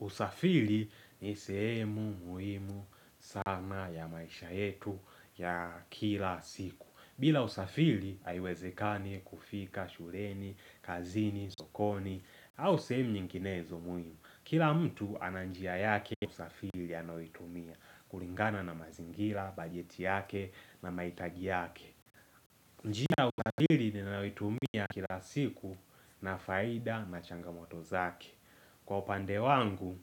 Usafili ni sehemu muhimu sana ya maisha yetu ya kila siku. Bila usafili haiwezekani kufika, shuleni, kazini, sokoni, au sehemu nyinginezo muhimu. Kila mtu ana njia yake usafili anayoitumia, kulingana na mazingira, bajeti yake na mahitaji yake. Njia ya usafili ninayoitumia kila siku ina faida na changamoto zake. Kwa upande wangu,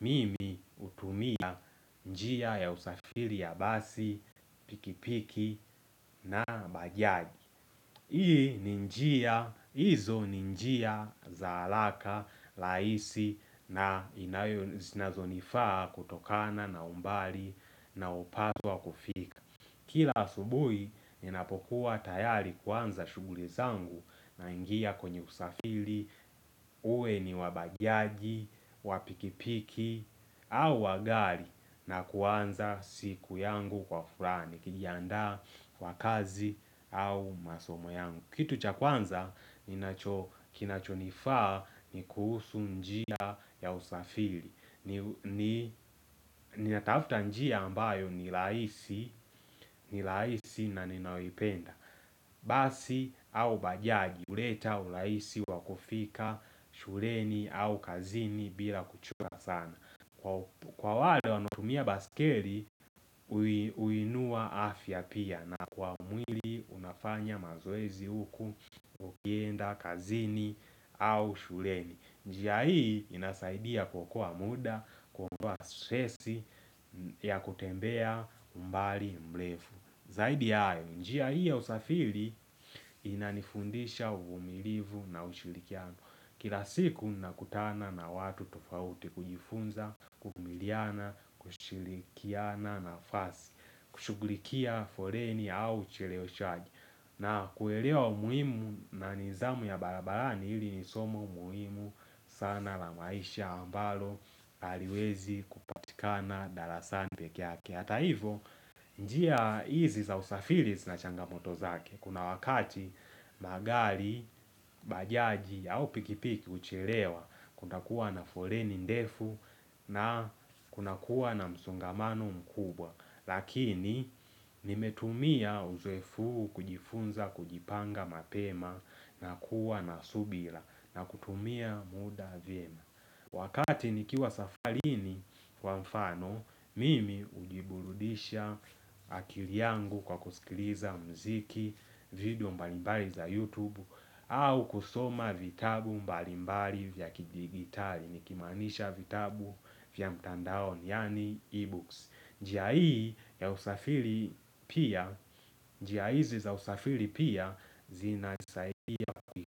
mimi hutumia njia ya usafiri ya basi, pikipiki na bajaji Hii ni njia, hizo ni njia za halaka, laisi na inayo zinazonifaa kutokana na umbali nao paswa kufiki Kila asubuhi, ninapokuwa tayari kuanza shughuli zangu na ingia kwenye usafili, uwe ni wabajaji, wapikipiki au wa gari na kuanza siku yangu kwa furaha nikijiandaa kwa kazi au masomo yangu. Kitu cha kwanza ninacho kinachonifaa ni kuhusu njia ya usafili ni Ninatafta njia ambayo ni laisi ni laisi na ninayoipenda Basi au bajaji huleta urahisi wakufika shuleni au kazini bila kuchelewa sana Kwa wale wanaotumia baskeli uinua afya pia na kwa mwili unafanya mazoezi huku, ukienda, kazini au shuleni njia hii inasaidia kuokoa muda, kuondoa stresi ya kutembea umbali mrefu Zaidi ya hayo, njia hii ya usafiri inanifundisha uvumilivu na ushurikiano Kila siku nakutana na watu tofauti kujifunza, kuvumiliana, kushirikiana nafasi kushugulikia foleni au ucheleweshaji na kuelewa umuhimu na nizamu ya barabarani hili ni somo muhimu sana la maisha ambalo haliwezi kupatikana darasani pekeake hata hivo njia hizi za usafiri zina changamoto zake kuna wakati magari bajaji au pikipiki huchelewa kuna kuwa na foleni ndefu na kuna kuwa na msungamano mkubwa Lakini nimetumia uzoefu huu kujifunza kujipanga mapema na kuwa na subira na kutumia muda vyema Wakati nikiwa safarini kwa mfano mimi hujiburudisha akili yangu kwa kusikiliza mziki vidio mbalimbali za youtube au kusoma vitabu mbalimbali vya kidigitali nikimanisha vitabu vya mtandaoni yani ebooks njia hii ya usafiri pia, njia izi za usafiri pia zinasaidia.